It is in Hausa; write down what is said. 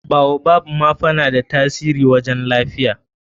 baobab ma fa na da tasiri wajen lafiya.